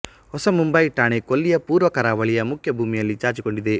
ಹೊಸ ಮುಂಬಯಿ ಠಾಣೆ ಕೊಲ್ಲಿಯ ಪೂರ್ವ ಕರಾವಳಿಯ ಮುಖ್ಯ ಭೂಮಿಯಲ್ಲಿ ಚಾಚಿಕೊಂಡಿದೆ